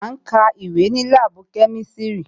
À ń ka ìwé ní láàbù kemisiri